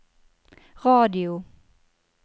radio